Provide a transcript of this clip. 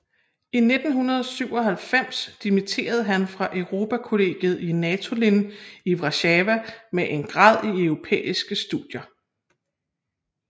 I 1997 dimitterede han fra Europakollegiet i Natolin i Warszawa med en grad i europæiske studier